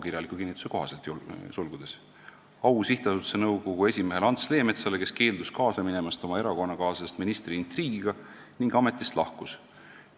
Au sihtasutuse nõukogu esimehele Ants Leemetsale, kes keeldus kaasa minemast oma erakonnakaaslasest ministri intriigiga ning ametist lahkus.